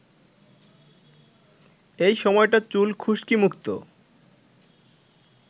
এই সময়টা চুল খুশকিমুক্ত